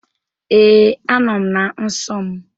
Ee, a nọọ m na nsọ m.